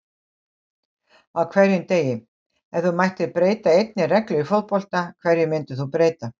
Á hverjum degi Ef þú mættir breyta einni reglu í fótbolta, hverju myndir þú breyta?